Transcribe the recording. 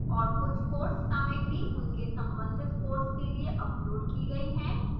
और कुछ course सामग्री उनके संबंधित course के लिए uploaded की गई है